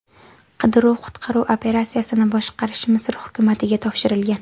Qidiruv-qutqaruv operatsiyasini boshqarish Misr hukumatiga topshirilgan.